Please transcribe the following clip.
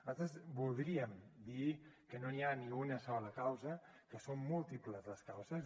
nosaltres voldríem dir que no hi ha una sola causa que són múltiples les causes